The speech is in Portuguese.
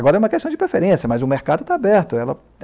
Agora é uma questão de preferência, mas o mercado está aberto. Ela